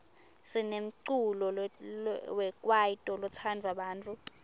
sinemculo wekwaito lotsandwa bantfu